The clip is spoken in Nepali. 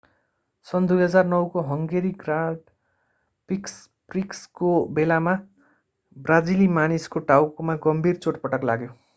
सन् 2009 को हंगेरी ग्राण्ड प्रिक्सको बेलामा ब्राजिली मानिसको टाउकोमा गम्भीर चोटपटक लाग्यो